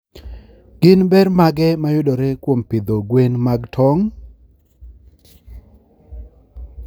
Gin ber mage mayudore kuom pidho gwen mag tong?